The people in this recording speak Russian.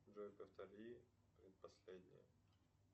джой повтори предпоследнее